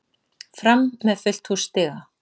Fram með fullt hús stiga